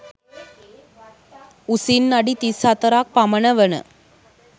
උසින් අඩි 34 ක් පමණ වන